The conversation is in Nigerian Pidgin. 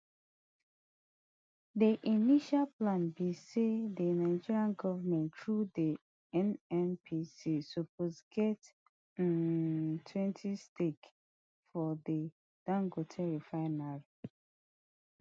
di initial plan be say di nigeria goment through di nnpc suppose get um twenty stake for di dangote refinery